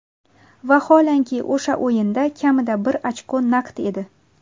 Vaholanki, o‘sha o‘yinda kamida bir ochko naqd edi.